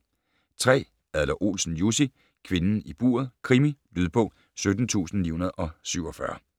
3. Adler-Olsen, Jussi: Kvinden i buret: krimi Lydbog 17947